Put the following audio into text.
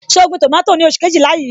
So gbin tomato ni oṣù Kejìlá yí?